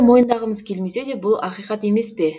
мойындағымыз келмесе де бұл ақиқат емес пе